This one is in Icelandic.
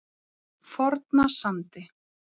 Fornasandi